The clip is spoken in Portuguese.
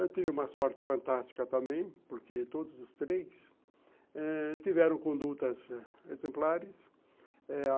Eu tive uma sorte fantástica também, porque todos os três eh tiveram condutas exemplares.